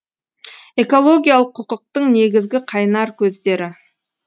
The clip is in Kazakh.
экологиялық құқықтың негізгі қайнар көздері